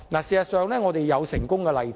事實上，這是有成功的例子。